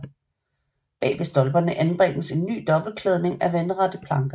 Bag ved stolperne anbringes en ny dobbelt klædning af vandrette planker